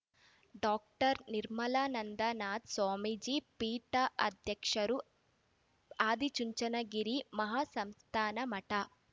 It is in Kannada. ಡಾಕ್ಟರ್ ನಿರ್ಮಲಾನಂದನಾಥ ಸ್ವಾಮೀಜಿ ಪೀಠಾಧ್ಯಕ್ಷರು ಆದಿಚುಂಚನಗಿರಿ ಮಹಾಸಂಸ್ಥಾನ ಮಠ